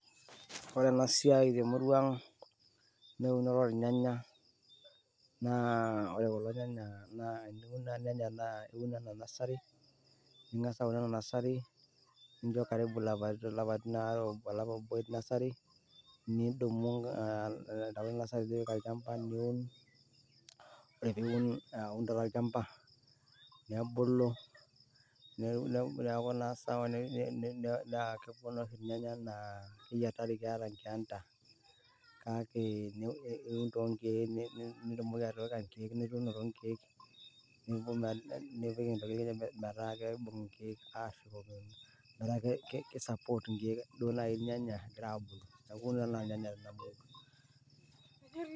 Ore ena siai te emurua aang' naa eunore olnyanya, naa ore kulo nyanya naa, teniun ilnyanya naa iun anaa nursery, nincho karibu ilapaitin waare obo te nursery nidumu angas apik olchamba niun. Ore pee iun taata tolchamba, nebulu ,neaku naa sawa , naa kebulu oshi ilnyanya anaa inkeenta, kake iun too inkeek ,nitumoki atipika inkeek, nipik intokitin metaa kejing inkeek ashomo meetaa keisapot inkeek naai.